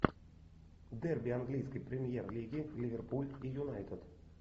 дерби английской премьер лиги ливерпуль и юнайтед